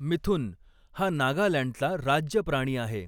मिथुन हा नागालँडचा राज्य प्राणी आहे